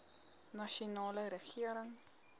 nasionale regering